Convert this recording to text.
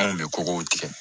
Anw bɛ kɔgɔw tigɛ